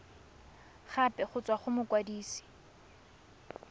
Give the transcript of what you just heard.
gape go tswa go mokwadise